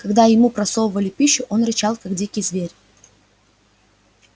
когда ему просовывали пищу он рычал как дикий зверь